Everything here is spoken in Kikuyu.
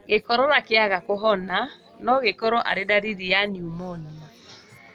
Gĩkorora kĩaga kũhona nogĩkorwo arĩ ndariri ya niumonia